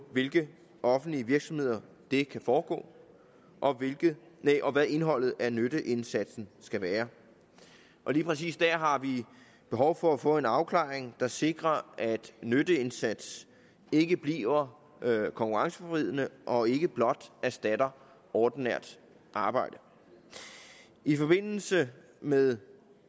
hvilke offentlige virksomheder det kan foregå og og hvad indholdet af nytteindsatsen skal være lige præcis der har vi behov for at få en afklaring der sikrer at nytteindsatsen ikke bliver konkurrenceforvridende og ikke blot erstatter ordinært arbejde i forbindelse med